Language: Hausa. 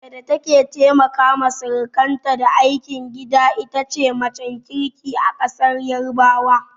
Mace da take taimaka wa sirikanta da aikin gida itace macen kirki a ƙasar yarabawa